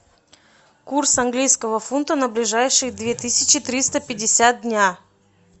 курс английского фунта на ближайшие две тысячи триста пятьдесят дня